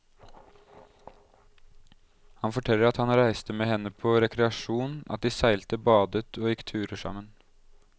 Han forteller at han reiste med henne på rekreasjon, at de seilte, badet og gikk turer sammen.